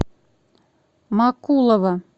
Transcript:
макулова